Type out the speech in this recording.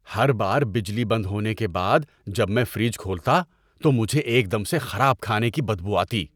ہر بار بجلی بند ہونے کے بعد جب میں فریج کھولتا تو مجھے ایک دم سے خراب کھانے کی بدبو آتی۔